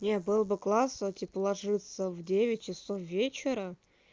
не был бы класс типа ложиться в девять часов вечера